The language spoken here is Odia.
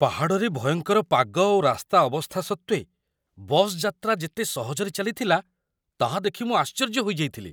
ପାହାଡ଼ରେ ଭୟଙ୍କର ପାଗ ଓ ରାସ୍ତା ଅବସ୍ଥା ସତ୍ତ୍ୱେ ବସ୍ ଯାତ୍ରା ଯେତେ ସହଜରେ ଚାଲିଥିଲା, ତାହା ଦେଖି ମୁଁ ଆଶ୍ଚର୍ଯ୍ୟ ହୋଇଯାଇଥିଲି!